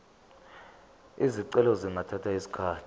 izicelo zingathatha isikhathi